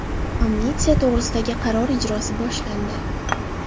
Amnistiya to‘g‘risidagi qaror ijrosi boshlandi.